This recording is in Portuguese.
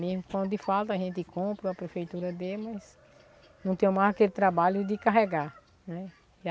Mesmo quando falta, a gente compra, a prefeitura dê, mas não tenho mais aquele trabalho de carregar, né?